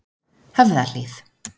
Höfðahlíð